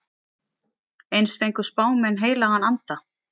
Eins fengu spámenn heilagan anda.